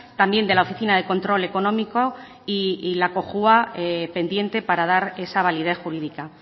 también de la oficina de control económico y la cojua pendiente para dar esa validez jurídica